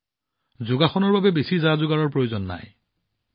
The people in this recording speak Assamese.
যিয়েই নহওক যোগাসনত বেছি কষ্টৰ প্ৰয়োজন নাই